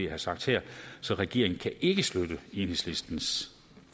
har sagt her så regeringen kan ikke støtte enhedslistens